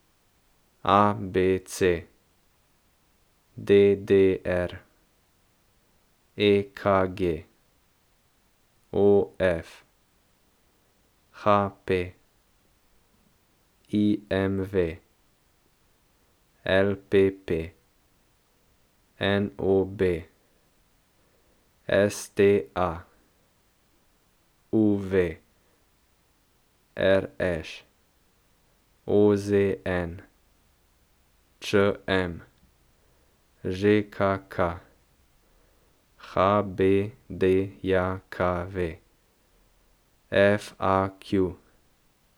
A B C; D D R; E K G; O F; H P; I M V; L P P; N O B; S T A; U V; R Š; O Z N; Č M; Ž K K; H B D J K V; F A Q.